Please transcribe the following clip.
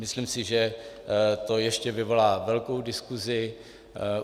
Myslím si, že to ještě vyvolá velkou diskusi.